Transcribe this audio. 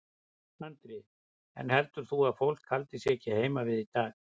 Andri: En heldur þú að fólk haldi sig ekki heima við í dag?